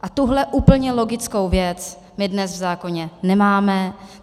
A tuhle úplně logickou věc my dnes v zákoně nemáme.